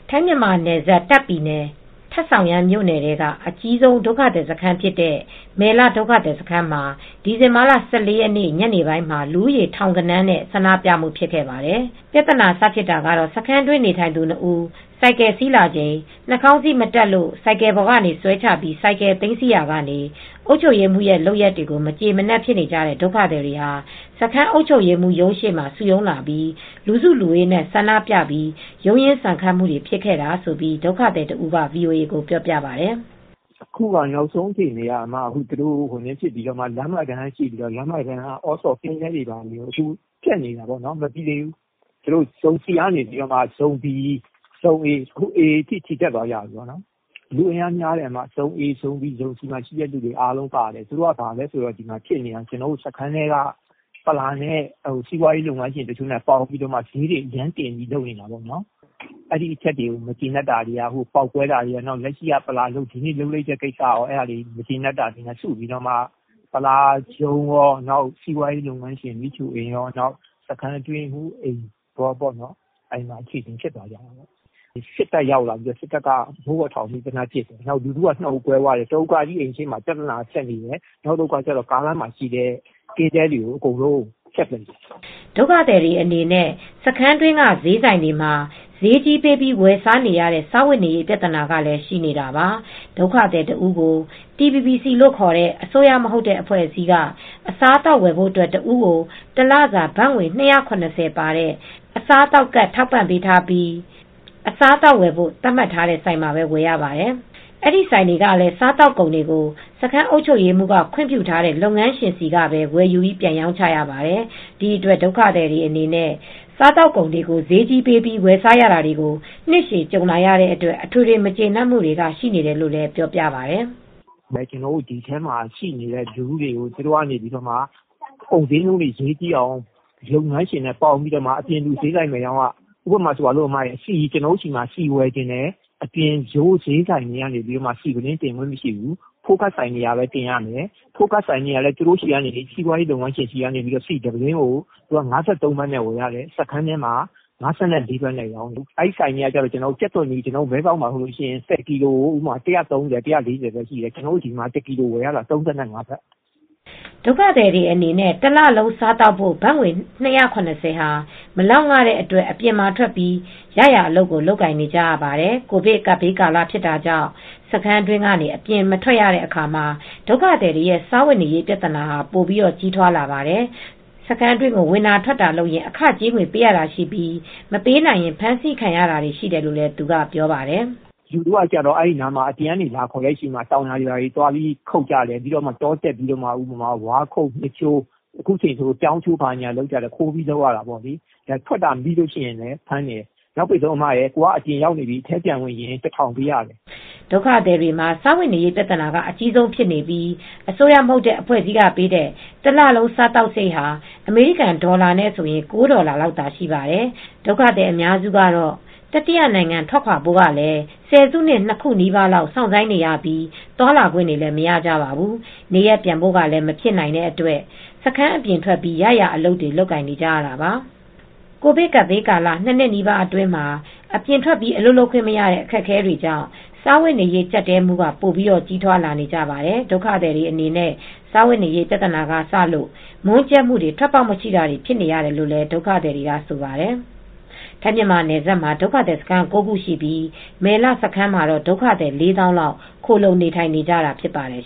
ထိုင်း- မြန်မာနယ်စပ် တာ့ခ်ပြည်နယ် ထာ့ဆောင်ရမ်းမြို့နယ်ထဲက အကြီးဆုံး ဒုက္ခသည်စခန်းဖြစ်တဲ့ မယ်လဒုက္ခသည်စခန်းမှာ ဒီဇင်ဘာလ ၁၄ ရက်နေ့ ညနေပိုင်းမှာ လူဦးရေ ထောင်ဂဏန်းနဲ့ ဆန္ဒပြမှု ဖြစ်ခဲ့ပါတယ်။ ပြဿနာ စဖြစ်တာကတော့ စခန်းတွင်း နေထိုင်သူ ၂ ဦး ဆိုင်ကယ်စီးလာချိန် နှာခေါင်းစည်းမတပ်လို့ ဆိုင်ကယ်ပေါ်က ဆွဲချပြီး ဆိုင်ကယ်သိမ်းဆည်းရာကနေ အုပ်ချုပ်ရေးမှူးရဲ့လုပ်ရပ်တွေကို မကျေမနပ်ဖြစ်နေကြတဲ့ ဒုက္ခသည်တွေဟာ စခန်း အုပ်ချုပ်ရေးမှူးရုံးရှေ့ကို စုရုံးလာပြီး လူစုလူဝေးနဲ့ဆန္ဒပြပြီး ရုန်းရင်း ဆန်ခတ်မှုတွေ ဖြစ်ခဲ့တာလို့ ဒုက္ခသည်တဦးက ဗွီအိုအေ ကို ပြောပြပါတယ်။ " နောက်ဆုံး အခြေအနေကတော့ သူတို့က လမ်းမတန်းက (အော်စော်) လုံခြုံရေးကင်းတဲတွေကို ဖျက်နေတယ်။ မပြီးသေးဘူး။ ဇုံ C ကနေ ဇုံ A အထိချီတက်သွားကြတယ်။ လူအင်အားများတယ်။ ဇုံ A, ဇုံ B, ဇုံ C မှာရှိတဲ့သူတွေအားလုံးပါတယ် ဖြစ်နေတာက။ ပလာ (စခန်းအုပ်ချုပ်ရေးမှူး)နဲ့ စီးပွားလုပ်ငန်းရှင် တစုနဲ့ ပေါင်းပြီး ဈေးတွေအရမ်းတင်နေတဲ့ ကိစ္စတွေပါတယ်။ အဲဒီအချက်တွေကို မကျေနပ်ပြီး ပေါက်ကွဲတာရော။ လက်ရှိ ဒီနေ့လုပ်လိုက်တဲ့ ကိစ္စကိုရော မကျေနပ်လို့ ပလာ(စခန်းအုပ်ချုပ်ရေးမှူး ) ရုံးရော စီးပွားရေးလုပ်ငန်းရှင် မိချို အိမ်ကိုကော။ စခန်း အတွင်းရေးမှူးအိမ်ကိုကောပေါ့။ အဲဒီမှာအခြေအတင်ဖြစ်ကြတာပဲ။ စစ်တပ်က မိုးပေါ်ထောင်ပစ်တယ်။ လူထုက ၂ စု ကွဲသွားတယ်။ တစုက အဲဒီအိမ်တွေရှေ့မှာ။ နောက်တစုက ကင်းတဲတွေဖျက်ပစ်နေတယ်။ " ဒုက္ခသည်တွေ အနေနဲ့ စခန်းတွင်းက ဈေးဆိုင်တွေမှာ ဈေးကြီးပေးပြီး ဝယ်စားနေရတဲ့ စားဝတ်နေရေး ပြဿနာကလည်း ရှိနေတာပါ။ TBBC လို့ ခေါ်တဲ့အစိုးရမဟုတ်တဲ့အဖွဲ့အစည်းက အစားအသောက်ဝယ်ဖို့ အတွက် ဒုက္ခသည်တဦးကို တလစာ ထိုင်း ဘတ်ငွေ ၂၇၀ ပါတဲ့ ကဒ်ထောက်ပံ့ပေးထားပြီး အစားအသောက်ဝယ်ဖို့ သတ်မှတ်ထားတဲ့ ဆိုင်မှာပဲ ဝယ်ရပါတယ် ။ အဲဒီဆိုင်တွေကလည်း စားသောက်ကုန်တွေကို စခန်းအုပ်ချုပ်ရေးမှူးက ခွင့်ပြုထားတဲ့ လုပ်ငန်းရှင်ဆီကပဲ ဝယ်ယူပြီးပြန်ရောင်းချရပါတယ်။ ဒီအတွက် ဒုက္ခသည်တွေအနေနဲ့ စားသောက်ကုန်တွေကို ဈေးကြီးပေးပြီ းဝယ်စားရတာတွေကို နှစ်ရှည်ကြုံ လာရတဲ့အတွက် အထွေထွေ မကျေနပ်မူတွေက ရှိနေတယ်လို့လည်း ပြောပြပါတယ်။ " ဒီထဲမှာရှိနေတဲ့ လူထုတွေကို သူတို့က ကုန်ဈေးနှုံးတွေ ဈေးကြီးအောင် လုပ်ငန်းရှင်နဲ့ပေါင်းပြီး အပြင်လူ aဈးဆိုင်မရောင်းရဘူး။ ဥပမာဆိုရင် ကျနော်တို့ဆီ ဝယ်ချင်တယ်ဆိုရင် ရိုးရိုးဈေးဆိုင်တွေက ဆီတင်ခွင့်မရှိဘူး ။ food card ဆိုင်တွေတင်ရမယ်။ အဲဒီ food card ဆိုင်တွေကလည်း သူတို့လုပ်ငန်းရှင် တွေဆီကပဲ ဆီတပုလင်းကို ၅၃ ဘတ်နဲ့ ဝယ်ရတယ်။ စခန်းထဲမှာ ၅၄ ဘတ်နဲ့ပြန်ရောင်းရတယ် ။ အဲဒီဆိုင်တွေကလည်း ကြက်သွန် ၁၀ကီလိုဆို မဲဆောက်မှာ ဘတ် ၁၃၀ လောက်ပဲရှိတယ်။ ကျနော်တို့က ဝယ်ရတာက တကီလိုကို ၃၅ ဘတ်နဲ့ ဝယ်ရတယ်။ ဒုက္ခသည်တွေအနေနဲ့ တလလုံး စားသောက်ဖို့ ဘတ်ငွေ ၂၇၀ ဟာ မလောက်င တဲ့အတွက် အပြင်မှာထွက်ပြီး ရရာအလုပ်ကို လုပ်ကိုင်နေကြရပါတယ်။ ကိုဗစ်ကာလဖြစ်တာကြောင့် စခန်းအတွင်းကနေ အပြင်မထွက်ရတဲ့ အခါမှာ ဒုက္ခသည်တွေရဲ့စားဝတ်နေရေး ပြသနာဟာ ပိုပြီးကြီးထွားလာပါတယ်။ စခန်းတွင်းကို ဝင်တာထွက်တာလုပ်ရင် အခကြေးငွေပေးရတာရှိပြီး မပေးနိုင်ရင်ဖမ်းဆီးခံရတယ်လို့လည်း သူကပြောပြပါတယ်။ " လူထုက အပြင်ကလာခေါ်ရင် တောင်ယာခုတ်ကြတယ်။ တောတက်ပြီး ဝါးခုတ် မျှစ်ချိုး လုပ်ရတယ်။ အခုချိန်ဆို ပြောင်းချိုးတာတွေလုပ်ရတယ်။ ခိုးပြီးလုပ်ရတာပေါ့လေ။ ထွက်တာမိရင်လည်း အဖမ်းခံရတယ်။ နောက်ဆုံး အပြင်ရောက်နေလို့ အထဲပြန်ဝင်ချင်ရင် ဘတ် ၁,၀၀၀ ပေးရတယ်။ " ဒုက္ခသည် စခန်းတွေမှ ာစားဝတ်နေရေး ပြဿနာက အကြီးဆုံးဖြစ်နေပြီး အစိုးရမဟုတ်တဲ့ အဖွဲ့အစည်းတွေက ပေးတဲ့ တလလုံး စားသောက်စရိတ်ဟာ အမေရိကန် ဒေါ်လာနဲ့ဆိုရင် ၉ ဒေါ်လာလောက်သာ ရှိပါတယ်။ ဒုက္ခသည် အများစုကတော့ တတိယနိုင်ငံ ထွက်ခွါဖို့ကလည်း ဆယ်စုနှစ် ၂ခုနီးပါးလောက် စောင့်ဆိုင်းနေရပြီ းသွားလာခွင့်တွေလည်း မရကြပါဘူး။ နေရပ်ပြန်ဖို့လည်းမဖြစ်နိုင်တဲ့အတွက် စခန်းအပြင်ထွက်ပြီး ရရာအလုပ်တွေ လုပ်နေကြရတာပါ။ ကိုဗစ်ကပ်ဘေးကာလ ၂နှစ်နီးပါးအတွင်းမှာအပြင်ထွက် အလုပ်လုပ်ခွင့် မရတဲ့ အခက်အခဲတွေ ကြောင့် စားဝတ်နေရေး ကြပ်တည်းမှုက ပိုပြီးကြီးထွားလာကြပါတယ် ။ ဒုက္ခသည်တွေ အနေနဲ့ စားဝတ်နေရေးပြသနာကစလို့ မွန်းကြပ်မူတွေ ထွက်ပေါက်မရှိတာတွေ ဖြစ်နေနေရတယ်လို့လည်းဒုက္ခသည်တွေကဆိုပါတယ်။ ထိုင်းမြန်မာနယ်စပ်မှာ ဒုက္ခသည်စခန်း ၉ ခုရှိပြီး မယ်လစခန်းမှာ ဒုက္ခသည် ၄ သောင်းလောက် ခိုလှုံနေထိုင် နေတာဖြစ်ပါတယ်